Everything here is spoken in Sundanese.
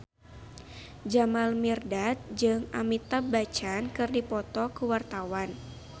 Jamal Mirdad jeung Amitabh Bachchan keur dipoto ku wartawan